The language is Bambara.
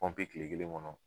kile kelen kɔnɔ.